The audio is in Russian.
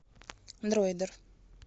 дройдер